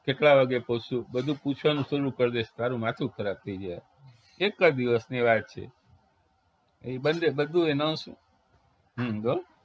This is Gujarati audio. કેટલા વાગે પોહચશું. બધું પૂછવાનું બુછવાનુંકરી દેશે ચાલુ તારું માથું ખરાબ થઇ જશે એક જ દિવસની વાત છે એ બધે બધુ announce હ હો